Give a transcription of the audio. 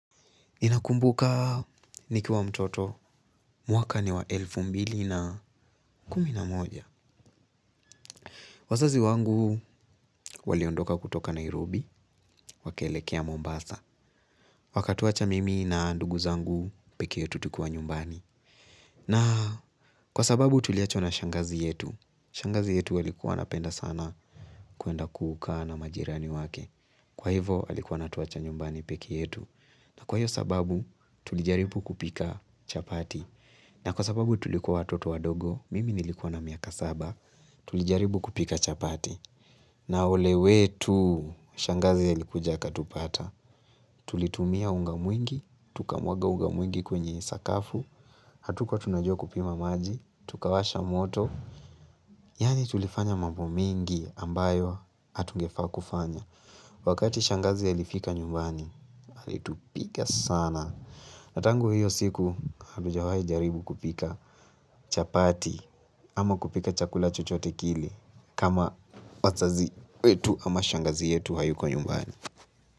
Ninakumbuka nikiwa mtoto mwaka ni wa elfu mbili na kumi na moja. Wazazi wangu waliondoka kutoka Nairobi, wakelekea Mombasa. Wakatuwacha mimi na ndugu zangu pekei yetu tukiwa nyumbani. Na kwa sababu tuliachwa na shangazi yetu. Shangazi yetu alikuwa anapenda sana kwenda kukaa na majirani wake. Kwa hivo alikuwa anatuwacha nyumbani peke yetu. Na kwa hiyo sababu tulijaribu kupika chapati. Na kwa sababu tulikuwa watoto wadogo, mimi nilikuwa na miaka saba, tulijaribu kupika chapati. Na ole wetu, shangazi alikuja akatupata. Tulitumia unga mwingi, tukamwaga unga mwingi kwenye sakafu, hatukuwa tunajua kupima maji, tukawasha moto. Yani tulifanya mambo mingi ambayo, hatungefaa kufanya. Wakati shangazi alifika nyumbani, alitupiga sana. Na tangu hiyo siku hatujawahi jaribu kupika chapati ama kupika chakula chochote kile kama wazazi wetu ama shangazi yetu hayuko nyumbani.